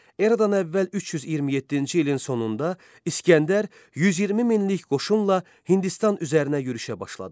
Eradan əvvəl 327-ci ilin sonunda İsgəndər 120 minlik qoşunla Hindistan üzərinə yürüşə başladı.